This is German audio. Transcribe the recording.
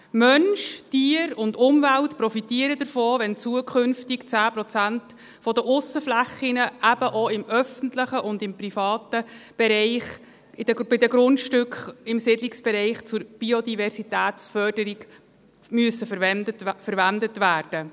Mensch, Tier und Umwelt profitieren davon, wenn zukünftig 10 Prozent der Aussenflächen eben auch im öffentlichen und im privaten Bereich bei den Grundstücken im Siedlungsbereich zur Biodiversitätsförderung verwendet werden müssen.